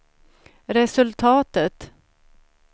resultatet